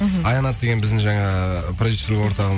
мхм аянат деген біздің жаңағы продюссер орталығының